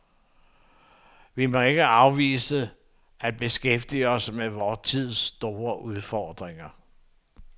Vi må ikke afvise at beskæftige os med vor tids store udfordringer.